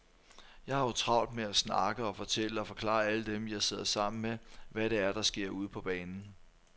Jeg har jo travlt med at snakke og fortælle og forklare alle dem, jeg sidder sammen med, hvad det er, der sker ude på banen.